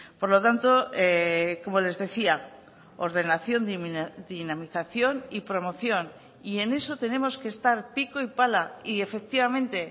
por lo tanto como les decía ordenación dinamización y promoción y en eso tenemos que estar pico y pala y efectivamente